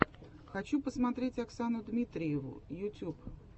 хочу посмотреть оксану дмитриеву ютуб